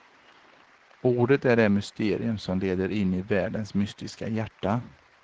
Ordet är det mysterium som leder in i världens mystiska hjärta.